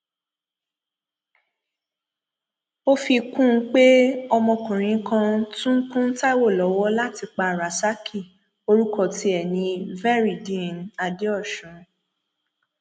ó fi kún un pé ọmọkùnrin kan tún kún taiwo lọwọ láti pa rasaki orúkọ tiẹ ní veryideen adeosun